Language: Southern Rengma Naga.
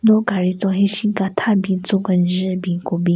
Lo gaari tson henshin ka tha bin tso kenjen bin ku bin.